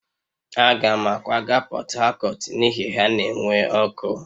Aga m akwaga Portharcourt n'ihi na ha na-enwe ọkụ